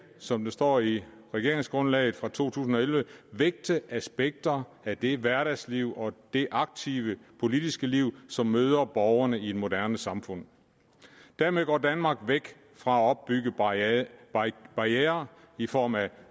som der står i regeringsgrundlaget fra to tusind og elleve vægte aspekter af det hverdagsliv og det aktive politiske liv som møder borgerne i et moderne samfund dermed går danmark væk fra at opbygge barrierer barrierer i form af